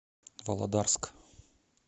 володарск